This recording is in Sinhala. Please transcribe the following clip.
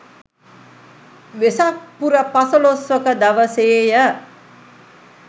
වෙසක් පුර පසළොස්වක දවසේ ය.